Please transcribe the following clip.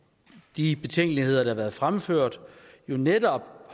de betænkeligheder der har været fremført netop